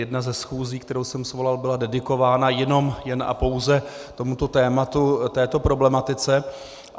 Jedna ze schůzí, kterou jsem svolal, byla dedikována jen a pouze tomuto tématu, této problematice.